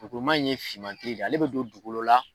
in ye finman tɛ yen, ale bɛ don dugu kolo la